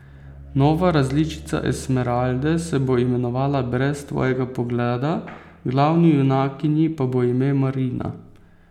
Nova različica Esmeralde se bo imenovala Brez tvojega pogleda, glavni junakinji pa bo ime Marina.